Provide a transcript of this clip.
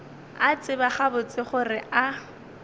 a tseba gabotse gore a